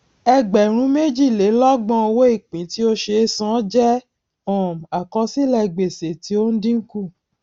ẹgbẹrún méjìlélọgbọn owóìpín tí ó ṣe é san jẹ um àkọsílẹ gbèsè tí ó ń dínkù